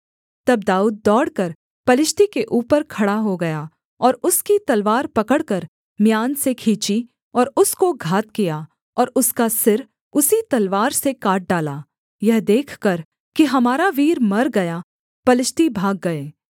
तब दाऊद दौड़कर पलिश्ती के ऊपर खड़ा हो गया और उसकी तलवार पकड़कर म्यान से खींची और उसको घात किया और उसका सिर उसी तलवार से काट डाला यह देखकर कि हमारा वीर मर गया पलिश्ती भाग गए